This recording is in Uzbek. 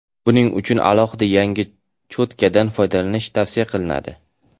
Buning uchun alohida yangi cho‘tkadan foydalanish tavsiya qilinadi.